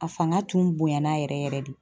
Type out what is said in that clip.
A fanga tun bonya na yɛrɛ yɛrɛ de.